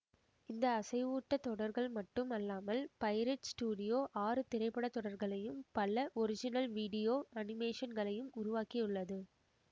இந்த அசைவூட்டத் தொடர்கள் மட்டும் அல்லாமல் பையிரட் ஸ்டுடியோ ஆறு திரைப்பட தொடர்களையும் பல ஒரிஜினல் விடியோ அனிமேஷன் களையும் உருவாக்கியுள்ளது